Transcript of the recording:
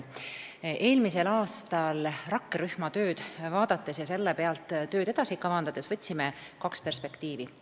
Vaatasime eelmisel aastal rakkerühma tööd ja võtsime selle pealt tööd edasi kavandades aluseks kaks perspektiivi.